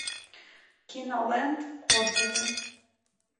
киноленд отзывы